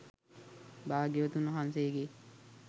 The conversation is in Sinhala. භාග්‍යවතුන් වහන්සේගේ